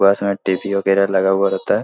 बस में लगा हुआ रहता है।